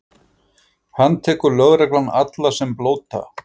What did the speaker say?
Handtekur lögreglan alla sem blóta?